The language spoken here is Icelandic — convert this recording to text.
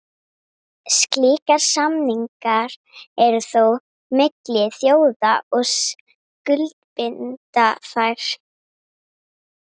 Slíkir samningar eru þó milli þjóða og skuldbinda þær.